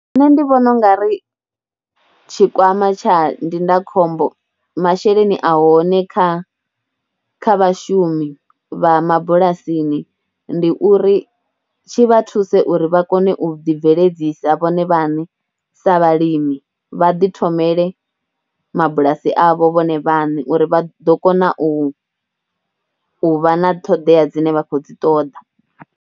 Nṋe ndi vhona u nga ri tshikwama tsha ndindakhombo, masheleni a hone kha kha vhashumi vha mabulasini ndi uri tshi vha thuse uri vha kone u ḓibveledzisa vhone vhaṋe sa vhalimi, vha ḓi thomele mabulasi avho vhone vhaṋe uri vha ḓo kona u vha, u vha na ṱhoḓea dzine vha khou dzi ṱoḓa.